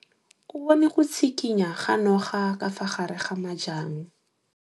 O bone go tshikinya ga noga ka fa gare ga majang.